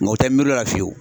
Ng'o tɛ miiri l'o la fiyewu.